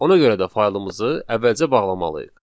Ona görə də faylımızı əvvəlcə bağlamalıyıq.